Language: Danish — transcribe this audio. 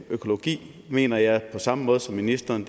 økologi mener jeg på samme måde som ministeren